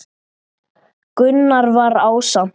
Gunnar var ásamt